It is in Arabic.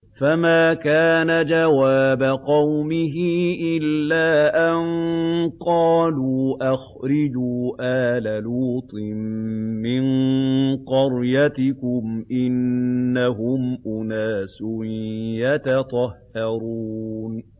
۞ فَمَا كَانَ جَوَابَ قَوْمِهِ إِلَّا أَن قَالُوا أَخْرِجُوا آلَ لُوطٍ مِّن قَرْيَتِكُمْ ۖ إِنَّهُمْ أُنَاسٌ يَتَطَهَّرُونَ